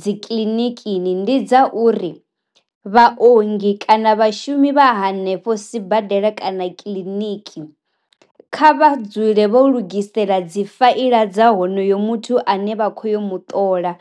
dzi kiḽinikini ndi dza uri, vha ongi kana vhashumi vha hanefho sibadela kana kiḽiniki, kha vha dzule vho lugisela dzi faila dza honoyo muthu ane vha khou yo muṱola